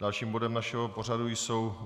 Dalším bodem našeho pořadu jsou